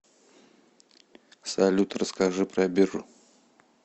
салют расскажи про биржу